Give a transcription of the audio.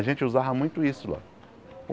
A gente usava muito isso lá.